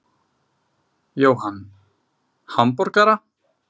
Jóhann: Hamborgara?